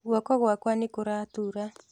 Guoko gwakwa nĩ kũratura.